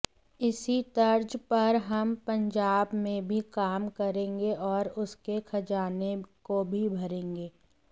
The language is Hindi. इसी तर्ज पर हम पंजाब में भी काम करेंगे और उसके खजाने को भी भरेंगे